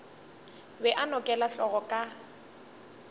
be a nokela hlogo ka